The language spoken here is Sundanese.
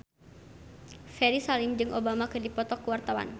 Ferry Salim jeung Obama keur dipoto ku wartawan